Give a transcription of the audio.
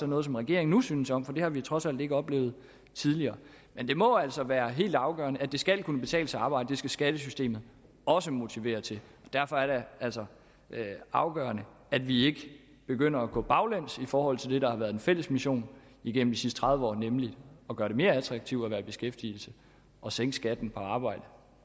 noget som regeringen nu synes om for det har vi trods alt ikke oplevet tidligere men det må altså være helt afgørende at det skal kunne betale sig at arbejde det skal skattesystemet også motivere til og derfor er det altså afgørende at vi ikke begynder at gå baglæns i forhold til det der har været den fælles mission gennem de sidste tredive år nemlig at gøre det mere attraktivt at være i beskæftigelse og sænke skatten på arbejde